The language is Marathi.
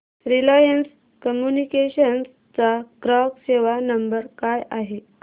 रिलायन्स कम्युनिकेशन्स चा ग्राहक सेवा नंबर काय आहे